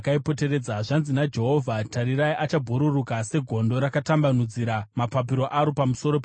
Zvanzi naJehovha: “Tarirai achabhururuka segondo, rakatambanudzira mapapiro aro pamusoro peMoabhu.